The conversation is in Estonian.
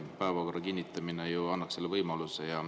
Päevakorra kinnitamine ju annab selle võimaluse.